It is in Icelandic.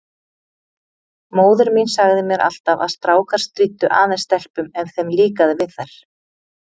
Móðir mín sagði mér alltaf að strákar stríddu aðeins stelpum ef þeim líkaði við þær.